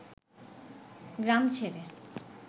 গ্রাম ছেড়ে